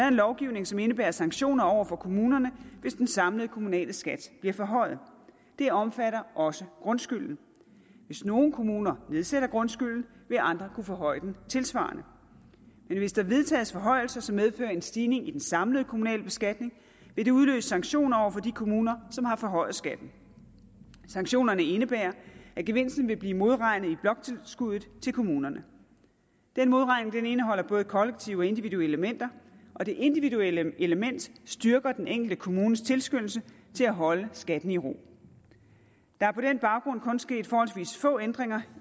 en lovgivning som indebærer sanktioner over for kommunerne hvis den samlede kommunale skat bliver forhøjet det omfatter også grundskylden hvis nogle kommuner nedsætter grundskylden vil andre kunne forhøje den tilsvarende men hvis der vedtages forhøjelser som medfører en stigning i den samlede kommunale beskatning vil det udløse sanktioner over for de kommuner som har forhøjet skatten sanktionerne indebærer at gevinsten vil blive modregnet i bloktilskuddet til kommunerne den modregning indeholder både kollektive og individuelle elementer og det individuelle element styrker den enkelte kommunes tilskyndelse til at holde skatten i ro der er på den baggrund kun sket forholdsvis få ændringer